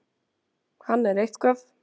Hann er eitthvað.